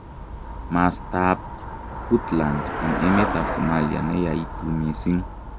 Mastaa ab Puntland eng emet ab Somalia neyaituu misiing